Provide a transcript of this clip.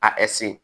A